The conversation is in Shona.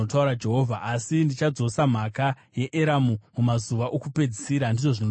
“Asi ndichadzosa nhaka yeEramu mumazuva okupedzisira,” ndizvo zvinotaura Jehovha.